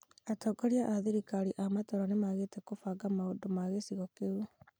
Atongorĩa a thirikari via matũũra nĩ magĩte kubanga maũndũ na gĩcigo kĩu.